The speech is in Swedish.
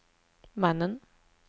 mannen